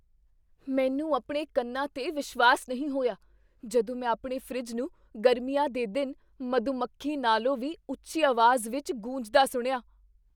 ਮੈਂ ਆਪਣੇ ਕੰਨਾਂ 'ਤੇ ਵਿਸ਼ਵਾਸ ਨਹੀਂ ਹੋਇਆ ਜਦੋਂ ਮੈਂ ਆਪਣੇ ਫਰਿੱਜ ਨੂੰ ਗਰਮੀਆਂ ਦੇ ਦਿਨ ਮਧੂਮੱਖੀ ਨਾਲੋਂ ਵੀ ਉੱਚੀ ਆਵਾਜ਼ ਵਿੱਚ ਗੂੰਜਦਾ ਸੁਣਿਆ!